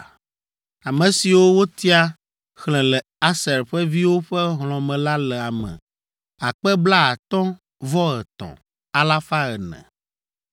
Ame siwo wotia xlẽ le Aser ƒe viwo ƒe hlɔ̃ me la le ame akpe blaatɔ̃-vɔ-etɔ̃, alafa ene (53,400).